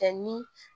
Kɛ ni